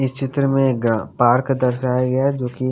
इस चित्र में ग पार्क दर्शाया गया जोकि--